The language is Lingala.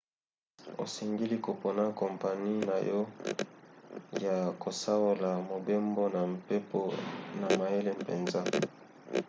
osengeli kopona kompani na yo ya kosaola mobembo na mpepo na mayele mpenza